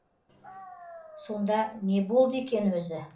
сонда не болды екен өзі